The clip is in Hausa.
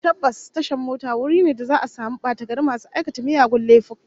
Tabbas, tashar mota wuri ne da za'a samu batagari masu aikata miyagun laifuffuka